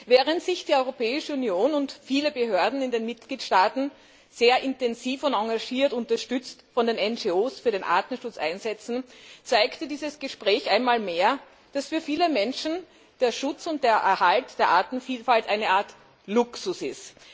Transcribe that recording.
Während sich die Europäische Union und viele Behörden in den Mitgliedstaaten sehr intensiv und engagiert und unterstützt von NGO für den Artenschutz einsetzen, zeigte dieses Gespräch einmal mehr, dass für viele Menschen der Schutz und der Erhalt der Artenvielfalt eine Art Luxus ist.